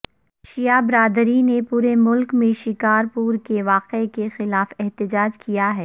شیعہ برادری نے پورے ملک میں شکار پور کے واقعے کے خلاف احتجاج کیا ہے